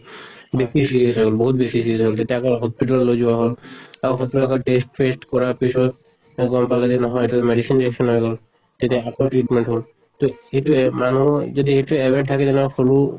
বেছি serious হৈ গʼল, বহুত বেছি হʼল তেতিয়া আকৌ hospital ত লৈ যোৱা হʼল আৰু test ফেষ্ত কৰাৰ পিছত তে গম পালে যে নহয় এইটো medicine reaction হৈ গʼল। তেতিয়া আকৌ treatment হʼল। ত সেইটোয়ে মানুহৰ যদি এইটো habit থাকে যে নহয় সৰু